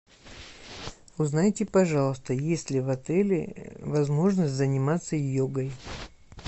узнайте пожалуйста есть ли в отеле возможность заниматься йогой